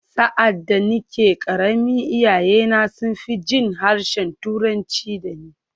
Sa’ad da nake ƙarami, iyayena sun fi jin harshen Turanci da ni.